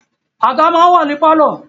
Àga máa ń wà ní pálọ̀